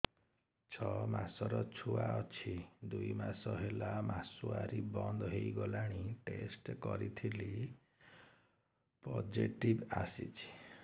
ଛଅ ମାସର ଛୁଆ ଅଛି ଦୁଇ ମାସ ହେଲା ମାସୁଆରି ବନ୍ଦ ହେଇଗଲାଣି ଟେଷ୍ଟ କରିଥିଲି ପୋଜିଟିଭ ଆସିଛି